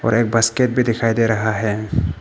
और एक बास्केट भी दिखाई दे रहा है।